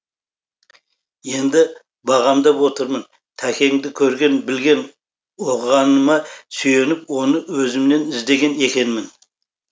енді бағамдап отырмын тәкеңді көрген білген оқығаныма сүйеніп оны өзімнен іздеген екенмін